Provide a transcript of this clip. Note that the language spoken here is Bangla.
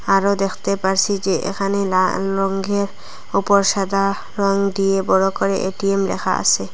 আরো দেখতে পারসি যে এখানে লাল রঙ্গের উপর সাদা রং দিয়ে বড় করে এ_টি_এম লেখা আসে।